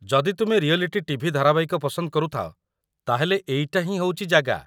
ଯଦି ତୁମେ reality TV ଧାରାବାହିକ ପସନ୍ଦ କରୁଥାଅ, ତା'ହେଲେ ଏଇଟା ହିଁ ହେଉଚି ଜାଗା।